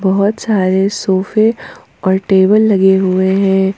बहोत सारे सोफे और टेबल लगे हुए है।